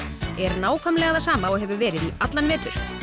er nákvæmlega það sama og hefur verið í allan vetur